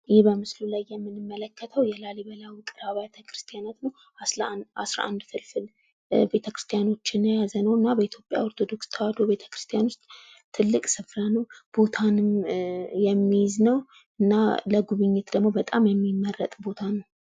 ይህ በምስሉ ላይ የምንመለከተው የላሊበላ ውቅር አብያተ ክርስቲያን ነው።11 ፍልፍል ቤተክርስቲያኖችን የያዘ ነው። እና በኢትዮጵያ ኦርቶዶክስ ተዋሕዶ ቤተክርስቲያን ውስጥ ትልቅ ስፍራ ነው። ቦታ የሚይዝ ነው። እና ለጉብኝት ደግሞ በጣም የሚመረጥ ቦታ ነው።